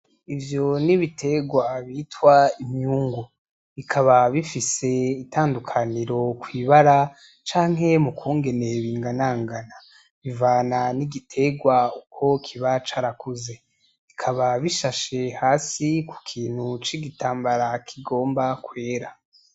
Ivyo ni ibitegwa bita imyungu, bikaba bifise itandukaniro kw'ibara canke mu kungene binganangana bivana n'igitegwa uko kiba carakuze, bikaba bishashe hasi ku kintu c'igitambara kigomba kwera